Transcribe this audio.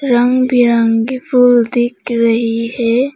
रंग बिरंगी फूल दिख रही है।